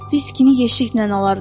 Viskini yeşiklə alardım.